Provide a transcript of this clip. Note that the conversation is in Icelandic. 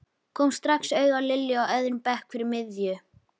Kom strax auga á Lilju á öðrum bekk fyrir miðju.